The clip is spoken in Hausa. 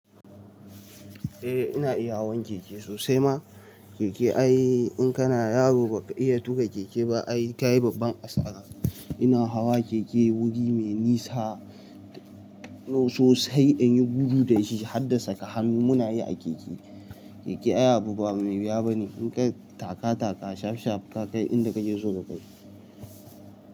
Eh ina iya hawan keke sosai ma. Keke ai in kana yaro ba ka iya tuƙa keke ba ai ka yi babban asara. Ina hawa keke wuri mai nisa, sosai in yi gudu dashi har da saka hannu muna yi a keke. Keke ai abu ba mai biya ba ne, in ka yi taka taka, shaf shaf ka kai inda kake so ka kai.